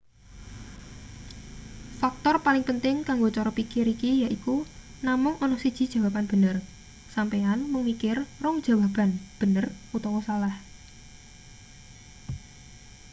faktor paling penting kanggo cara pikir iki yaiku namung ana siji jawaban bener sampeyan mung mikir rong jawaban bener utawa salah